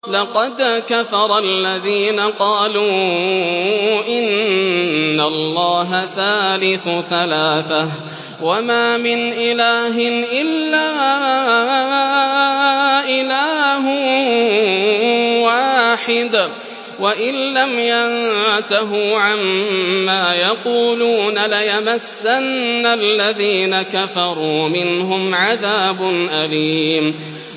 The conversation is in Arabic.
لَّقَدْ كَفَرَ الَّذِينَ قَالُوا إِنَّ اللَّهَ ثَالِثُ ثَلَاثَةٍ ۘ وَمَا مِنْ إِلَٰهٍ إِلَّا إِلَٰهٌ وَاحِدٌ ۚ وَإِن لَّمْ يَنتَهُوا عَمَّا يَقُولُونَ لَيَمَسَّنَّ الَّذِينَ كَفَرُوا مِنْهُمْ عَذَابٌ أَلِيمٌ